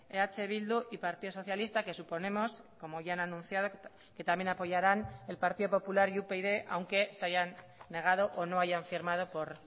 eh bildu y partido socialista que suponemos como ya han anunciado que también apoyaran el partido popular y upyd aunque se hayan negado o no hayan firmado por